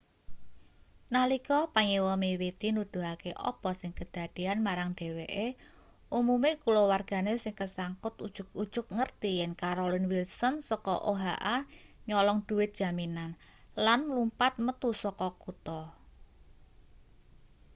nalika panyewa miwiti nuduhake apa sing kedadeyan marang dheweke umume kulawargane sing kesangkut ujug-ujug ngerti yen carolyn wilson saka oha nyolong dhuwit jaminan lan mlumpat metu saka kutha